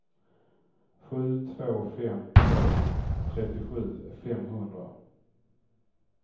sju två fem två trettiosju femhundra